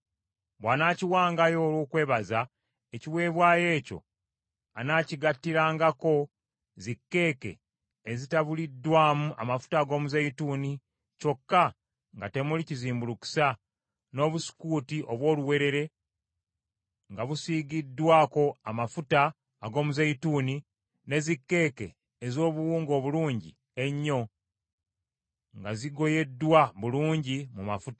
“ ‘Bw’anaakiwangayo olw’okwebaza, ekiweebwayo ekyo anaakigattirangako zikkeeke ezitabuliddwamu amafuta ag’omuzeeyituuni kyokka nga temuli kizimbulukusa, n’obusukuuti obw’oluwewere nga busiigiddwako amafuta ag’omuzeeyituuni, ne zikkeeke ez’obuwunga obulungi ennyo nga zigoyeddwa bulungi mu mafuta.